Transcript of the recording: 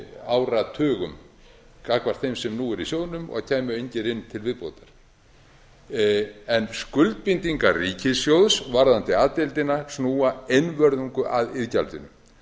áratugum gagnvart þeim sem nú eru í sjóðnum og kæmu engir inn til viðbótar en skuldbindingar ríkissjóðs varðandi a deildina snúa einvörðungu að iðgjaldinu